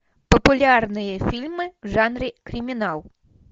популярные фильмы в жанре криминал